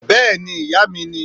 Béèni ìyá mi ni